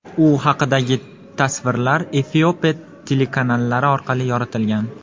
U haqidagi tasvirlar Efiopiya telekanallari orqali yoritilgan.